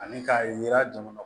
Ani k'a yira jamana kɔnɔ